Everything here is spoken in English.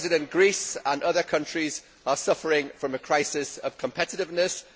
Greece and other countries are suffering from a crisis of competitiveness.